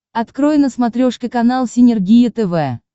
открой на смотрешке канал синергия тв